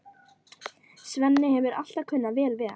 Svenni hefur alltaf kunnað vel við hana.